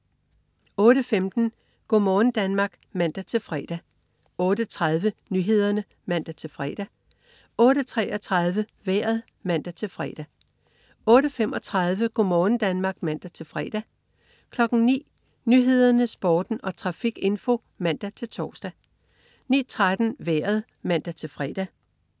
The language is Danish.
08.15 Go' morgen Danmark (man-fre) 08.30 Nyhederne (man-fre) 08.33 Vejret (man-fre) 08.35 Go' morgen Danmark (man-fre) 09.00 Nyhederne, Sporten og trafikinfo (man-tors) 09.13 Vejret (man-fre)